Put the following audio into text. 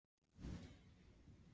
Hvers vegna gerði ég það svona oft?